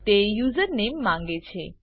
તે યુઝરનેમ માંગે છે